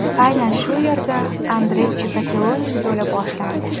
Aynan shu yerda Andrey Chikatiloning yo‘li boshlandi.